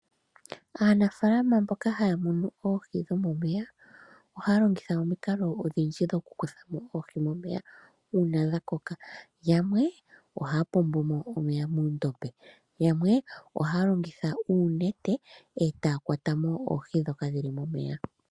Aanafaalama mboka haya munu oohi dhomomeya , oha ya longitha omikalo odhindji dhokukutha oohi momeya momeya uuna dha koka , yamwee ohaa pombomo omeya muundombe yamwee ohalongitha oonete etaa kwatamo oohi ondhoka dhili momeya.